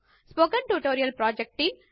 spoken tutorial project team